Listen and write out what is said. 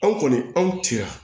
Anw kɔni anw tira